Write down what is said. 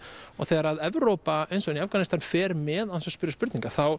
og þegar Evrópa eins og í Afganistan fer með án þess að spyrja spurninga þá